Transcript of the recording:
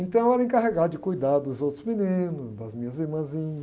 Então eu era encarregado de cuidar dos outros meninos, das minhas irmãzinhas.